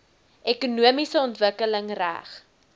ekonomiese ontwikkeling reg